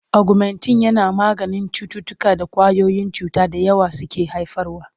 Ogumentin yana maganin cututtukan da ƙwayoyin cuta da yawa suke haifarwa.